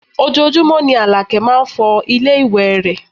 Ojoojúmọ́ ni Àlàkẹ́ máá ń fọ ilé ìwé rẹ̀